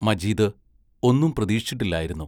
മജീദ് ഒന്നും പ്രതീക്ഷിച്ചിട്ടില്ലായിരുന്നു.